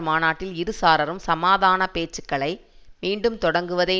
மாநாட்டில் இரு சாராரும் சமாதான பேச்சுக்களை மீண்டும் தொடங்குவதை